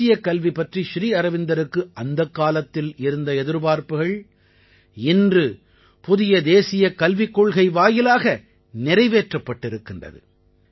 தேசியக் கல்வி பற்றி ஸ்ரீ அரவிந்தருக்கு அந்தக் காலத்தில் இருந்த எதிர்பார்ப்புகள் இன்று புதிய தேசியக் கல்விக் கொள்கை வாயிலாக நிறைவேற்றப்பட்டிருக்கிறது